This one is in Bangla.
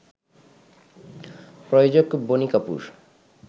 প্রযোজক বনি কাপুর